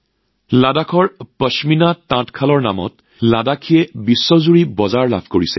লাডাখৰ তাঁতশাল নামেৰে লাডাখী পশ্মিনাই সমগ্ৰ বিশ্বৰ বজাৰত উপস্থিত হৈছে